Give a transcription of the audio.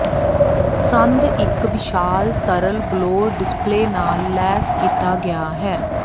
ਸੰਦ ਇੱਕ ਵਿਸ਼ਾਲ ਤਰਲ ਬਲੌਰ ਡਿਸਪਲੇਅ ਨਾਲ ਲੈਸ ਕੀਤਾ ਗਿਆ ਹੈ